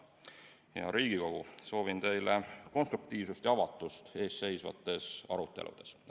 Hea Riigikogu, soovin teile konstruktiivsust ja avatust ees seisvates aruteludes!